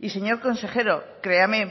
y señor consejero créame